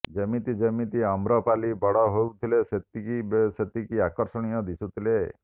ଯେମିତି ଯେମିତି ଅମ୍ରପାଲି ବଡ଼ ହେଉଥିଲେ ସେତିକି ସେତିକି ଆକର୍ଷଣୀୟ ଦିଶୁଥିଲେ